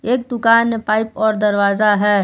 एक दुकान मे पाइप और दरवाजा है।